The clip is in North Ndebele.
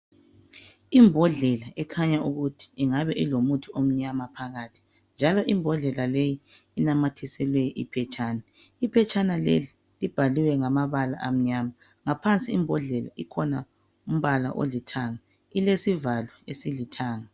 Imbodlela ekhanya ukuthi ingabe ilomuthi omnyama phakathi njalo imbodlela leyi inamathiselwe iphetshana. Iphetshana leli libhaliwe ngamabala amnyama. Ngaphansi imbodlela ikhona umbala olithanga. Ilesivalo esilithanga.